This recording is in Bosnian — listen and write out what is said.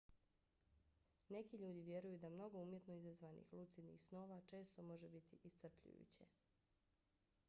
neki ljudi vjeruju da mnogo umjetno izazvanih lucidnih snova često može biti iscrpljujuće